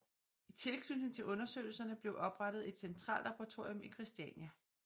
I tilknytning til undersøgelserne blev oprettet et centrallaboratorium i Kristiania